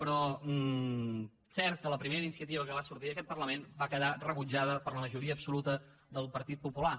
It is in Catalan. però és cert que la primera iniciativa que va sortir d’aquest parlament va quedar rebutjada per la majoria absoluta del partit popular